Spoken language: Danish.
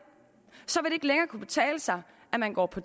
så vil det ikke længere kunne betale sig at gå på